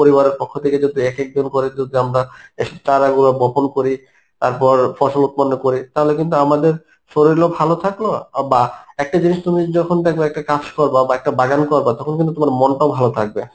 পরিবারের পক্ষ থেকে যদি একেকজন করে যদি আমরা এসব চারাগুলি বপন করি তারপর ফসল উৎপন্ন করি তাহলে কিন্তু আমাদের শরীলও ভালো থাকলো বা একটা জিনিস তুমি যখন দেখবা একটা গাছ করবা বা একটা বাগান করবা তখন কিন্তু তোমার মনটাও ভালো থাকবে, হ্যাঁ